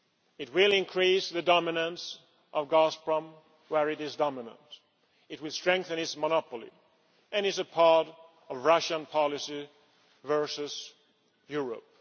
It will increase the dominance of Gazprom where it is dominant, it will strengthen its monopoly, and it is a part of Russian policy versus Europe.